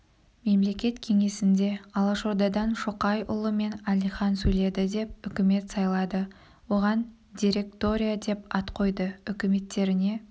мемлекет кеңесінде алашордадан шоқайұлы мен әлихан сөйледі деп үкімет сайлады оған директория деп ат қойды үкіметтеріне